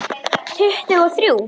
Tuttugu og þrjú!